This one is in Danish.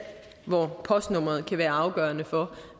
hvor postnummeret kan være afgørende for